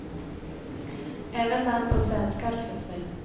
Även namn på svenskar finns med.